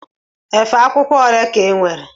Efe akwụkwọ ole ka inwere?